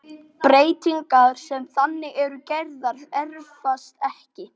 Breytingar sem þannig eru gerðar erfast ekki.